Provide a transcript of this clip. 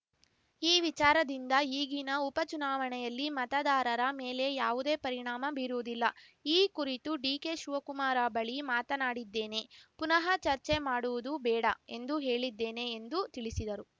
ಈ ವಿಚಾರದಿಂದ ಈಗಿನ ಉಪಚುನಾವಣೆಯಲ್ಲಿ ಮತದಾರರ ಮೇಲೆ ಯಾವುದೇ ಪರಿಣಾಮ ಬೀರುವುದಿಲ್ಲ ಈ ಕುರಿತು ಡಿಕೆ ಶಿವಕುಮಾರ ಬಳಿ ಮಾತನಾಡಿದ್ದೇನೆ ಪುನಃ ಚರ್ಚೆ ಮಾಡುವುದು ಬೇಡ ಎಂದು ಹೇಳಿದ್ದೇನೆ ಎಂದೂ ತಿಳಿಸಿದರು